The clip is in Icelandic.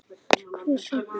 Hver sagði mér þetta?